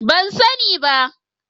Ban sani ba.